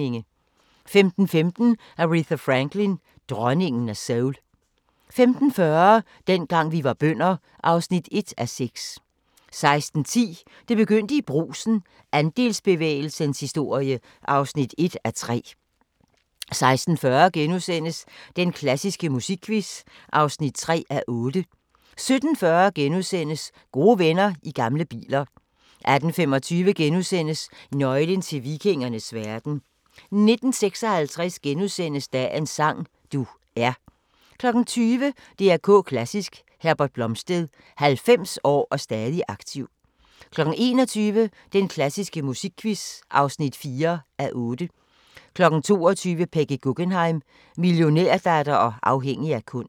15:15: Aretha Franklin: Dronningen af soul 15:40: Dengang vi var bønder (1:6) 16:10: Det begyndte i Brugsen – Andelsbevægelsens historie (1:3) 16:40: Den klassiske musikquiz (3:8)* 17:40: Gode venner i gamle biler * 18:25: Nøglen til vikingernes verden * 19:56: Dagens sang: Du er * 20:00: DR K Klassisk: Herbert Blomstedt – 90 år og stadig aktiv 21:00: Den klassiske musikquiz (4:8) 22:00: Peggy Guggenheim - millionærdatter og afhængig af kunst